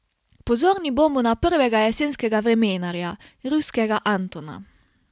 Pozorni bomo na prvega jesenskega vremenarja, ruskega Antona.